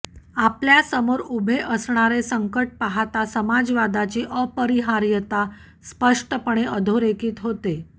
आपल्यासमोर उभे असणारे संकट पाहता समाजवादाची अपरिहार्यता स्पष्टपणे अधोरेखित होते